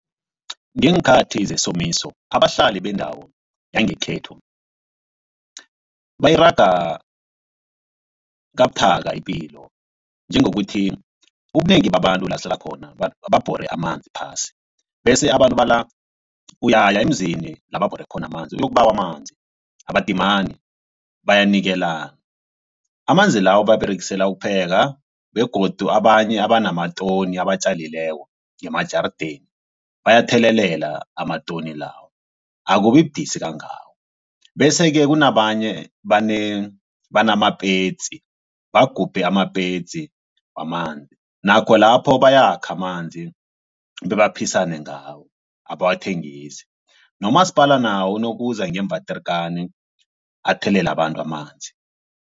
Ngeenkhathi zesomiso abahlali bendawo yangekhethu bayiraga kabuthaka ipilo njengokuthi ubunengi babantu la sihlala khona babhore amanzi phasi bese abantu bala uyaya emzini la babhore khona amanzi uyokubawa amanzi. Abadimani bayanikelana amanzi lawo bawaberegisela ukupheka begodu abanye abanatoni abatjalileko ngemajarideni bayathelelela amatoni lawo akubibudisi kangako bese-ke kunabanye namapetsi bagubhe amapetsi wamanzi nakho lapho bayakha amanzi bebaphisene ngawo abawathengisi nomasipala nawo nokuza ngee-waterkan athelele abantu amanzi.